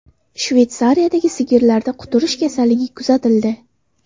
Shveysariyadagi sigirlarda quturish kasalligi kuzatildi.